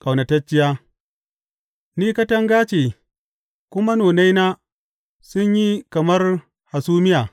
Ƙaunatacciya Ni katanga ce kuma nonaina sun yi kamar hasumiya.